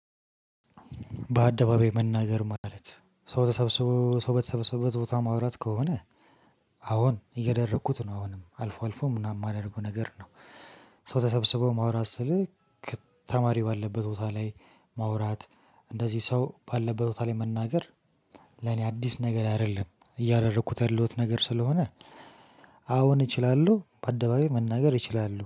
በአደባባይ መናገር ማለት ሰው በተሰበሰበበት ቦታ ማውራት ከሆነ አሁን እያደረኩት ነው አሁንም አልፎ አልፎ ምናምን የማደርገው ነገር ነው። ሰው ተሰብስበው ማውራት ስልህ። ተማሪ ባለበት ቦታ ላይ ማውራት እንደዚህ ሰው ባለበት ቦታ ላይ መናገር። ለኔ አዲስ ነገር አይደለም እያደረኩት ያለሁት ነገር ስለሆነ አሁን እችላለሁ በአደባባይ መናገር እችላለሁ